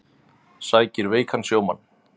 Sækir veikan sjómann